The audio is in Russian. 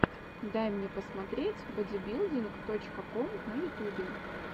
дай мне посмотреть бодибилдинг точка ком на ютубе